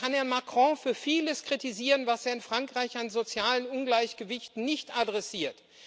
Man kann Herrn Macron für vieles kritisieren, was er in Frankreich an sozialen Ungleichgewichten nicht adressiert.